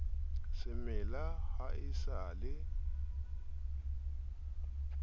semela ha o sa se